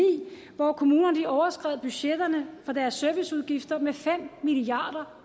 hvor kommunerne overskred budgetterne for deres serviceudgifter med fem milliard